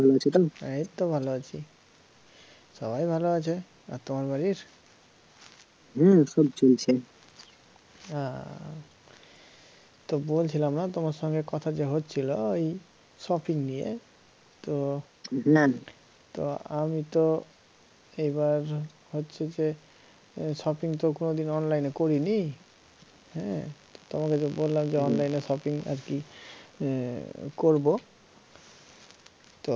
তো আমি তো এইবার হচ্ছে যে shopping তো কোনোদিন online এ করিনি হে, তোমাকে তো বললাম যে online এ shopping আরকি হম করবো তো